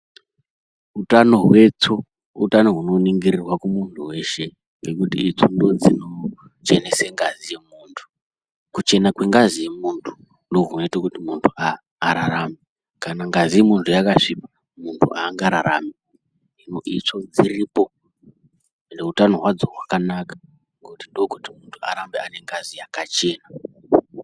Utano hwetsvo utano hunoningirirwa kumuntu weshe ngekuti itsvo ndidzo dzinochenese ngazi yemuntu, kuchenena kwengazi yemunhu ndokunoite kuti muntu ararame kana ngazi yemuntu yakasvipa muntu hangararami, hino itsvo dziripo ende utano hwadzo hwakanaka ndokuti muntu arambe anengazi yakachena.